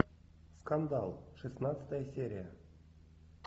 скандал шестнадцатая серия